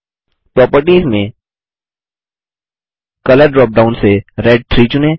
properties में colour drop down से red 3 चुनें